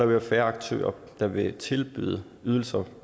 være færre aktører der vil tilbyde ydelser